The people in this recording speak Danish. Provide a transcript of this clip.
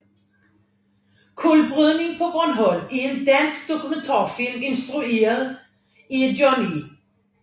Kulbrydning paa Bornholm er en dansk dokumentarfilm instrueret af John E